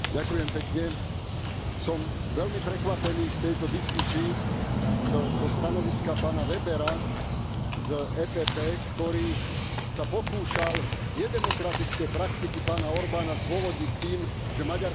Som veľmi prekvapený v tejto diskusii stanoviskom pána Webera z EPP, ktorý sa pokúšal nedemokratické praktiky pána Orbána zdôvodniť tým, že Maďarsko má ekonomický rast.